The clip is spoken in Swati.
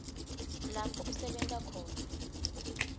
lapho asebenta khona